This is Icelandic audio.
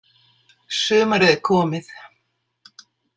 Sumarið er komið.